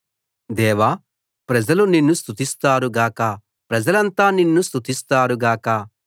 దేవా ప్రజలు నిన్ను స్తుతిస్తారు గాక ప్రజలంతా నిన్ను స్తుతిస్తారు గాక